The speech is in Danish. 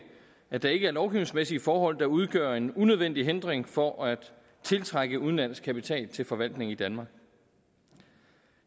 at der ikke er lovgivningsmæssige forhold der udgør en unødvendig hindring for at tiltrække udenlandsk kapital til forvaltning i danmark